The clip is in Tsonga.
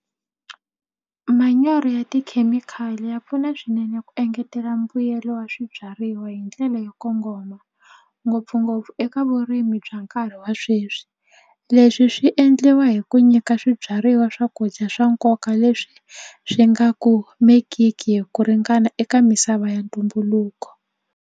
Manyoro ya tikhemikhali ya pfuna swinene ku engetela mbuyelo wa swibyariwa hi ndlela yo kongoma ngopfungopfu eka vurimi bya nkarhi wa sweswi leswi swi endliwa hi ku nyika swibyariwa swakudya swa nkoka leswi swi nga kumekiki hi ku ringana eka misava ya ntumbuluko.